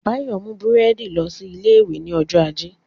Báyọ̀ mú búrẹ́dì lọ sí ilé ìwé ní ọjọ́ ajé